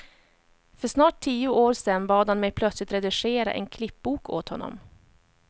För snart tio år sen bad han mig plötsligt redigera en klippbok åt honom.